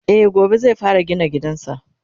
e gobe zai fara gina gidansa